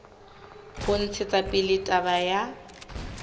ho ntshetsa pele taba ya